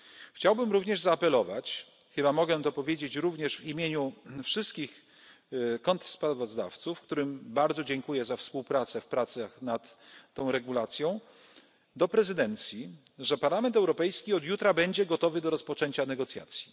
Chciałbym również zaapelować chyba mogę to powiedzieć również w imieniu wszystkich kontrsprawozdawców, którym bardzo dziękuję za współpracę w pracach nad tą regulacją do prezydencji, że Parlament Europejski od jutra będzie gotowy do rozpoczęcia negocjacji.